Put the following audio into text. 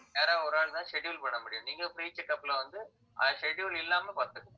யாராவது ஒரு ஆள்தான் schedule போட முடியும் நீங்க free checkup ல வந்து அஹ் schedule இல்லாம பாத்துக்கலாம்